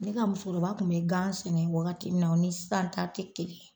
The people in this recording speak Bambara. Ne ka musokoroba kun bɛ gan sɛnɛ wagati min na o ni sisan ta te kelen ye.